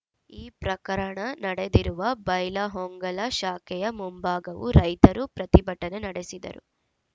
ಈ ಪ್ರಕರಣ ನಡೆದಿರುವ ಬೈಲಹೊಂಗಲ ಶಾಖೆಯ ಮುಂಭಾಗವೂ ರೈತರು ಪ್ರತಿಭಟನೆ ನಡೆಸಿದರು